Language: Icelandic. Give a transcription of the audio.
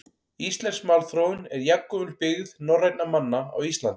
Íslensk málþróun er jafngömul byggð norrænna manna á Íslandi.